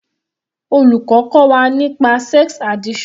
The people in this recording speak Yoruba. Olùkọ́ kọ́ wa nípa sex addiction